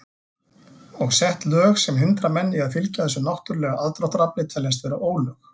Og sett lög sem hindra menn í að fylgja þessu náttúrulega aðdráttarafli teljast vera ólög.